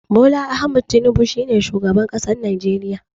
Bola Ahmed Tinibu shine shugaban ƙasar najeriya.